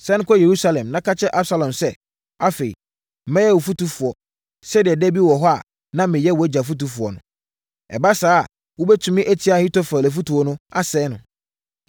Sane kɔ Yerusalem, na ka kyerɛ Absalom sɛ, ‘Afei, mɛyɛ wo fotufoɔ sɛdeɛ da bi hɔ no na meyɛ wʼagya fotufoɔ no.’ Ɛba saa a, wobɛtumi atia Ahitofel afotuo mu, asɛe no.